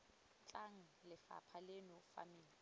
tlang lephata leno fa metsi